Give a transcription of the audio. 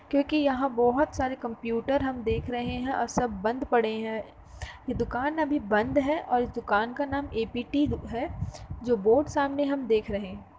क्योकि यहाँं बहुत सारे कंप्युटर हम देख रहे हैं और सब बंद पड़े हैं ये दुकान अभी बंद है और इस दुकान का नाम ए.पी.टी है जो बोर्ड सामने हम देख रहे --